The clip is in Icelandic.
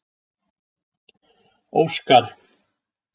Óskar